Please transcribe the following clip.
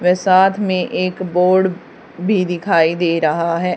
पर साथ में एक बोर्ड भी दिखाई दे रहा है।